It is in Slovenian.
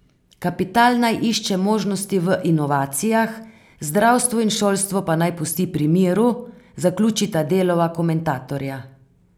Kapital naj išče možnosti v inovacijah, zdravstvo in šolstvo pa naj pusti pri miru, zaključita Delova komentatorja.